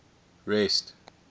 rest